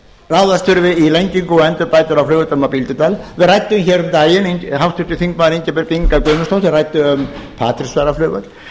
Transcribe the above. ráðast þurfi í lengingu og endurbætur á flugvellinum á bíldudal við ræddum hér um daginn háttvirtur þingmaður ingibjörg inga guðmundsdóttir ræddi um patreksfjarðarflugvöll